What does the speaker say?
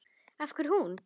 Af hverju hún?